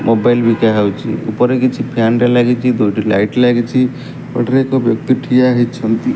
Mobile ବିକା ହଉଚି ଉପରେ କିଛି ଫ୍ୟାନ ଟେ ଲାଗିଚି ଦୁଇ ଟି ଲାଇଟ ଲାଗିଚି କଡ଼ରେ ଏକ ବ୍ୟକ୍ତି ଠିଆ ହେଇଛନ୍ତି।